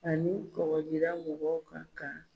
Ani kɔkɔjida mɔgɔw ka kan